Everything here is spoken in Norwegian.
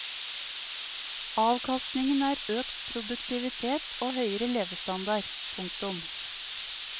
Avkastningen er økt produktivitet og høyere levestandard. punktum